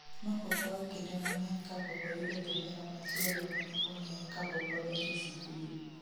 Nokokao kinde mang'eny kapokoyudo jahera machielo ma ne ong'eye kapokodonjo sikul